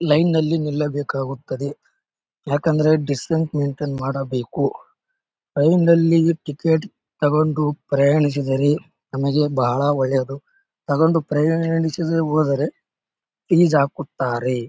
Line ನಲ್ಲಿ ನಿಲ್ಲಬೇಕಾಗುತ್ತದೆ ಯಾಕೆಂದ್ರೆ ಡಿಸ್ಟೆನ್ಸ್ ಮೆಂಟೆನ್ ಮಾಡಬೇಕು ಅಲ್ಲಿಂದೆಲ್ಲಿಗೆ ಟಿಕೆಟ್ ತಗೊಂಡು ಪ್ರಯಾಣಿಸಿದರೆ ನಮಗೆ ಬಹಳ ಒಳ್ಳೇದು ತಗೊಂಡು ಪ್ರಯಾಣಿಸದೆ ಹೊದರೆ ಇದರೆ ಏಜಾಕುತ್ತಾರೆ .